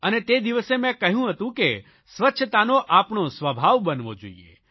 અને તે દિવસે મેં કહ્યું હતું કે સ્વચ્છતાનો આપણો સ્વભાવ બનવો જોઇએ